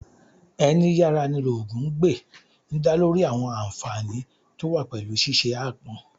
Ẹni yára ní lógun gbè' ń dá lórí àwọn ànfààní tó wà pẹ̀lú ṣíṣe aápọn